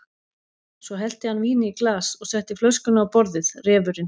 Svo hellti hann víni í glas og setti flöskuna á borðið, refurinn.